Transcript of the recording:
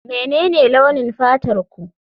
Menene launin fatarku?